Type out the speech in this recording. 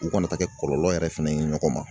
U kana taa kɛ kɔlɔlɔ yɛrɛ fɛnɛ ye ɲɔgɔn ma